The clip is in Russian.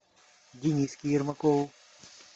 дениске ермакову